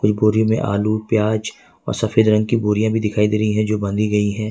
बोरी में आलू प्याज और सफेद रंग की बोरिया भी दिखाई दे रही है जो बांधी गई है।